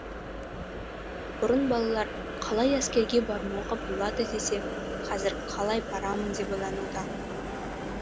бұрын балалар қалай әскерге бармауға болады десе қазір қалай барамын деп ойлануда